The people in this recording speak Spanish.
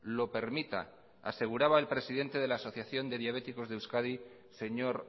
lo permita aseguraba el presidente de la asociación de diabéticos de euskadi señor